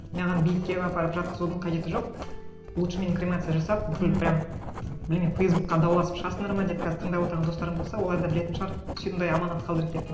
маған бейітке апарып жатқызудың қажеті жоқ лучше мені кремация жасап бүкіл прямо білмеймін фейсбукке дауласып шығасыңдар ма деп қазір тыңдап отырған достарым болса олар да білетін шығар сондай аманат қалдырып кеттім